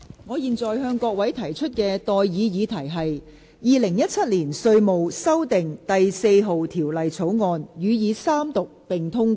我現在向各位提出的待議議題是：《2017年稅務條例草案》予以三讀並通過。